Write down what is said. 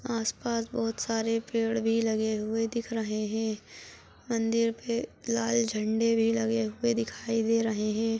आस -पास बहुत सारे पेड़ भी लगे हुए दिख रहे है मंदिर पे लाल झंडे भी लगे हुए दिखाई दे रहे हैं।